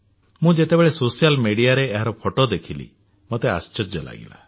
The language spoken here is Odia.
ମୁଁ ଯେତେବେଳେ ସୋସିଆଲ ମିଡିଆରେ ଏହାର ଫଟୋ ଦେଖିଲି ମୋତେ ଆଶ୍ଚର୍ଯ୍ୟ ଲାଗିଲା